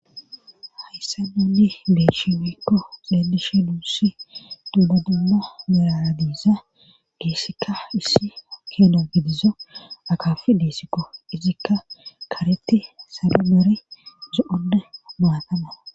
hayssa ninni geeshimekko xeelishe duussi dubdadummo mera diiza geessikka issi keena gidizo akafi disikko izikka karetti salo gare zo7ode maatana